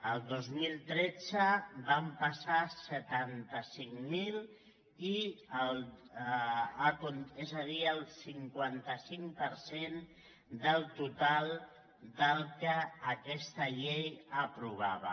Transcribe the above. el dos mil tretze van passar setanta cinc mil és a dir el cinquanta cinc per cent del total del que aquesta llei aprovava